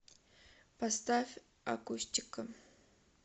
поставь акустика